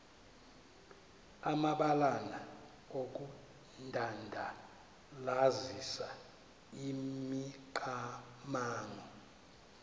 amabalana okudandalazisa imicamango